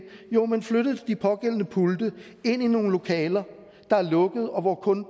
man flyttede de pågældende pulte ind i nogle lokaler der er lukkede og hvor kun